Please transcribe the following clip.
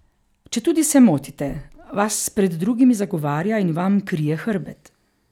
Četudi se motite, vas pred drugimi zagovarja in vam krije hrbet.